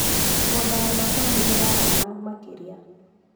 Mĩgũnda ya macani ĩrarama makĩria.